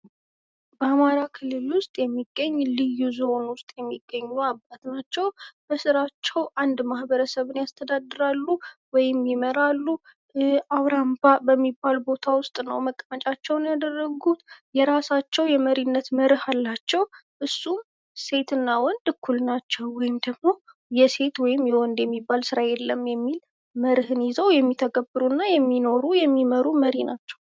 በአማራ ክልል ውስጥ የሚገኝ ልዩ ዞን ውስጥ የሚገኙ አባት ናቸው። በስራቸው አንድ ማህበረሰብን ያስተዳድራሉ ወይም ይመራሉ። አውራምባ በሚባል ቦታ ውስጥ ነው መቀመጫቸውን ያደረጉት። የራሳቸው የመሪነት መርህ አላቸው። እሱም ‟ሴት እና ወንድ እኩል ናቸው ወይም ደግሞ የሴት ወይም የወንድ የሚባል ስራ የለም!” የሚል መርህ ይዘው የሚተገብሩና የሚኖሩ፣ የሚመሩ መሪ ናቸው።